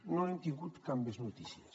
no n’hem tingut cap més notícia